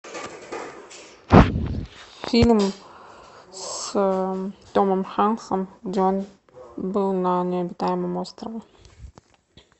фильм с томом хэнксом где он был на необитаемом острове